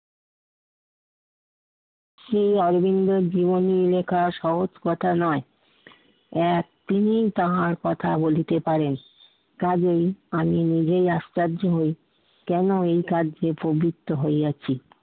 শ্রী অরবিন্দের জীবনী লেখা সহজ কথা নয়। আহ তিনি তাহার কথা বলিতে পারেন। কাজেই আমি নিজেই আশ্চর্য হই কেন এ কার্যে প্রবৃত্ত হইয়াছি।